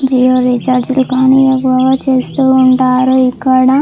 Jio recharge లు కానీ ఏవేవో చేస్తూ ఉంటారు. ఇక్కడ --